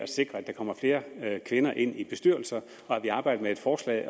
sikre at der kommer flere kvinder ind i bestyrelser og at vi arbejder med et forslag